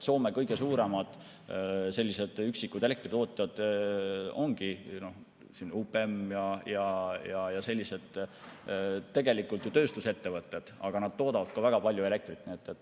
Soome kõige suuremad üksikud elektritootjad ongi UPM ja sellised tegelikult ju tööstusettevõtted, kes toodavad ka väga palju elektrit.